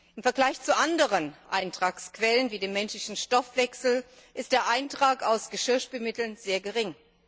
Im Vergleich zu anderen Eintragsquellen wie dem menschlichen Stoffwechsel ist der Eintrag aus Geschirrspülmitteln sehr gering.